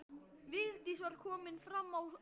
Vigdís var komin fram á skörina.